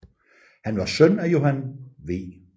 Han var en søn af Johan v